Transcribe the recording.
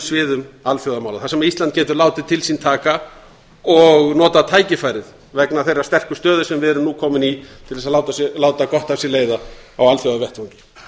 sviðum alþjóðamála þar sem ísland getur látið til sín taka og notað tækifærið vegna þeirrar sterku stöðu sem við erum nú komin í til þess að láta gott af sér leiða á alþjóðavettvangi